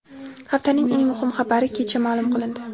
Haftaning eng muhim xabari kecha ma’lum qilindi .